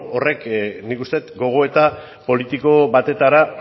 beno horrek nik uste dut gogoeta politiko batetara